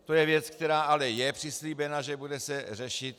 To je věc, která ale je přislíbena, že se bude řešit.